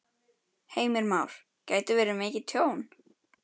Heimir Már: Gæti verið mikið tjón?